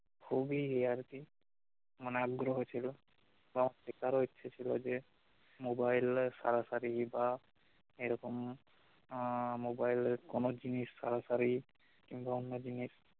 খুবই ইয়ে আর কি মানে আগ্রহ ছিল বা এটারও ইচ্ছে ছিল যে mobile এর সারাসারি বা নেবার এইরকম আহ mobile এর কোন জিনিস তাড়াতাড়ি কিংবা অন্য জিনিস